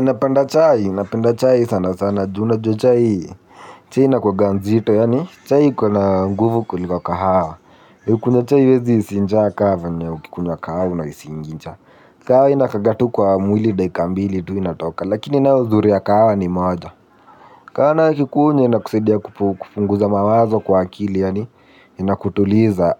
Napenda chai sana sana. Ju unajua chai chai inakuanga nzito. Chai ikona nguvu kuliko kahawa. Kunywa chai huwezi hisi njaa ka venye ukikunywa kahawa unahisingi njaa. Kahawa inakaanga tu kwa mwili dakika mbili tu inatoka. Lakini nayo uzuri ya kahawa ni moja. Kahawa ukikunywa inakusaidia kupunguza mawazo kwa akili yani inakutuliza